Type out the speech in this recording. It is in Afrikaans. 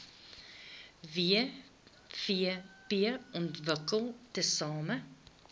wvp ontwikkel tesame